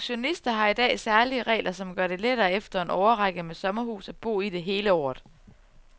Pensionister har i dag særlige regler, som gør det lettere efter en årrække med sommerhus at bo i det hele året.